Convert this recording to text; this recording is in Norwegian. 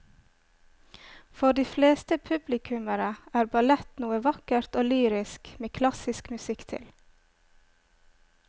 For de fleste publikummere er ballett noe vakkert og lyrisk med klassisk musikk til.